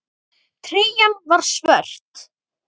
Treyjan er svört.